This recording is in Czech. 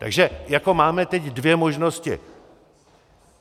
Takže jako máme teď dvě možnosti.